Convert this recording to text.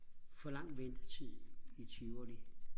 for lang ventetid i tivoli